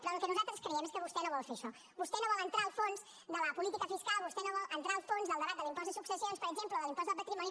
però el que nosaltres creiem és que vostè no vol fer això vostè no vol entrar al fons de la política fiscal vostè no vol entrar al fons del debat de l’impost de successions per exemple o de l’impost del patrimoni